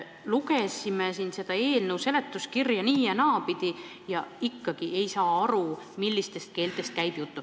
Lugesime seda eelnõu seletuskirja nii- ja naapidi ja ikkagi ei saa aru, millistest keeltest käib jutt.